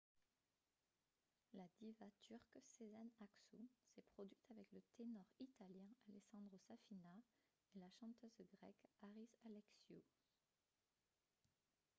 la diva turque sezen aksu s'est produite avec le ténor italien alessandro safina et la chanteuse grecque haris alexiou